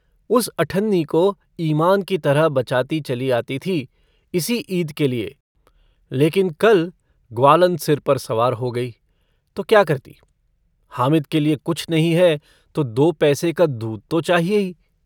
उस अठन्नी को ईमान की तरह बचाती चली आती थी इसी ईद के लिए लेकिन कल ग्वालन सिर पर सवार हो गयी तो क्या करती हामिद के लिए कुछ नहीं है तो दो पैसे का दूध तो चाहिए ही।